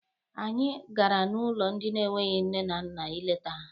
Anyị gara n'ụlọ ndị enweghị nne na nna ileta ha.